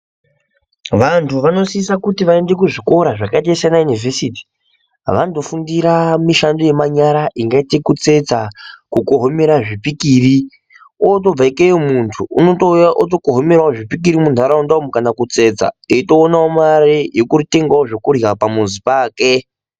Vantu vanosisa kuti vaende kuzvikora zvakaite sanaunovhesiti vanotofundira mishando yemanyara inoita kutsetsa kugohomera zvipikiri, otobva ikeyo muntu unotouya votokohomeravo zvipikiri muntaraunda umu kana kutsetsa. Eitoonavo mare yekutengavo zvekurya pamuzi pake.